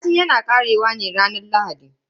Sati yana karewa ne a ranar Lahadi.